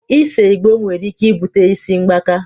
Ise Igbo nwere ike ibute isi mgbaka